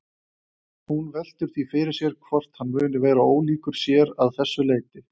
Hún veltir því fyrir sér hvort hann muni vera ólíkur sér að þessu leyti.